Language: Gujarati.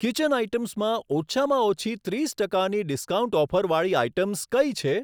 કિચન આઇટમ્સમાં ઓછામાં ઓછી ત્રીસ ટકાની ડિસ્કાઉન્ટ ઓફર વાળી આઇટમ્સ કઈ છે?